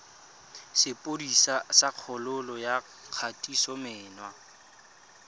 sepodisi sa kgololo ya kgatisomenwa